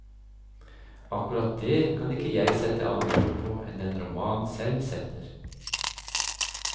Akkurat det, kan ikke jeg sette andre ord på enn den romanen selv setter.